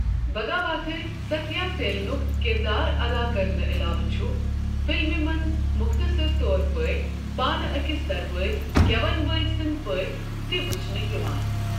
بگاواتھر، ستھیاسیلنُک کِردار ادا کرنہٕ علاوٕ چھُ فلمہِ منٛز مختصر طور پٲٹھۍ پانہٕ أکِس دربٲری گٮ۪ون وٲلۍ سنٛدۍ پٲٹھۍ تہِ وچھنہِ یِوان۔